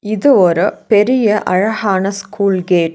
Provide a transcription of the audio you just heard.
இது ஒரு பெரிய அழகான ஸ்கூல் கேட் .